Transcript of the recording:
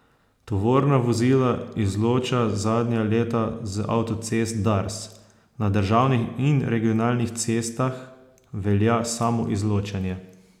Tovorna vozila izloča zadnja leta z avtocest Dars, na državnih in regionalnih cestah velja samoizločanje.